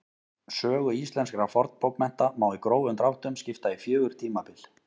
Sögu íslenskra fornbókmennta má í grófum dráttum skipta í fjögur tímabil.